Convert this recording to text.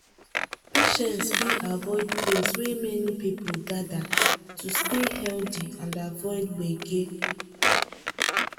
patients fit avoid place wey many people gather to stay healthy and avoid gbege.